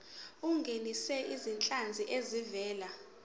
ungenise izinhlanzi ezivela